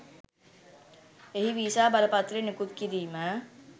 එහි වීසා බලපත්‍රය නිකුත් කිරීම